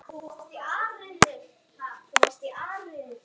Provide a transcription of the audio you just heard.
Hann skal ekki sleppa!